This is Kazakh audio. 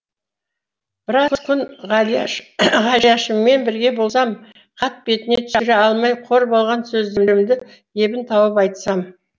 біраз күн ғалияшыммен бірге болсам хат бетіне түсіре алмай қор болған сөздерімді ебін тауып айтсам